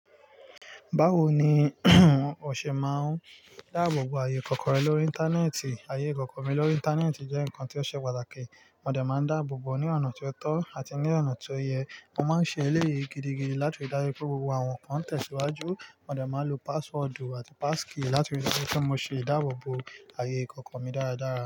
Báwo ni o ṣe máa ń dáàbò bo ayé ìkọ̀kọ̀ rẹ lórí Íńtánẹ́ẹ̀tì? Ayé ìkọ̀kọ̀ mi lórí Íńtánẹ́ẹ̀tì jẹ́ nǹkan tó ṣe pàtàkì. Mo dè máa ń dáàbò bo ní ọ̀nà tó tọ́ àti ní ọ̀nà tó yẹ. Mo máa ń ṣe eléyìí gidigidi láti dá ju pe gbogbo àwọn nǹkan tẹ̀síwájú. Mo dè máa ń lo pááswọ̀dù àti passkey láti rí i dájú pé mo ṣe ìdáàbò bo ayé ìkọ̀kọ̀ mi dáradára.